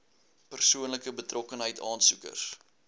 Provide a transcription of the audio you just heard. persoonlike betrokkenheid aansoekers